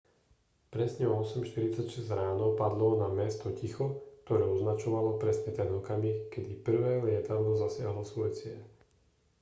presne o 8:46 ráno padlo na mesto ticho ktoré označovalo presne ten okamih kedy prvé lietadlo zasiahlo svoj cieľ